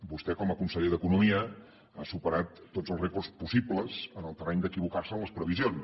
vostè com a conseller d’economia ha superat tots els rècords possibles en el terreny d’equivocar se en les previsions